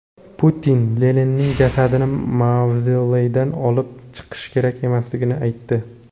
Putin Leninning jasadini mavzoleydan olib chiqish kerak emasligini aytdi.